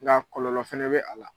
Nka kɔlɔlɔ fɛnɛ bɛ a la.